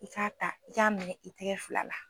I k'a ta i k'a minɛn i tɛgɛ fila la.